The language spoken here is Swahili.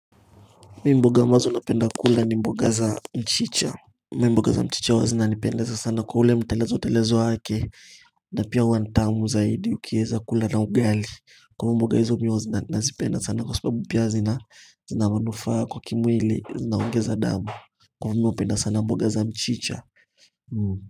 Mi mboga ambazo napenda kula ni mboga za mchicha. Mi mboga za mchicha huwa zina nipendaza sana kwa ule mtelezo telezo wake. Na pia huwa ni tamu zaidi ukieza kula na ugali. Kwa mboga hizo mi huwa zina nazipenda sana kwa subabu pia zina zina manufaa kwa kimwili zina ongeza damu. Kuwa mi upenda sana mboga za mchicha.